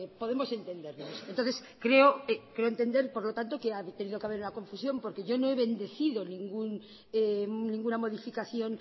podemos entendernos entonces creo entender que por lo tanto ha tenido que haber una confusión porque yo no he bendecido ninguna modificación